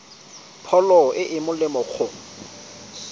pholo e e molemo go